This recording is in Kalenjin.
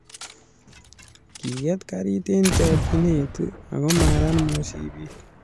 Kiket karit eng chokchinee ako marat mishipit.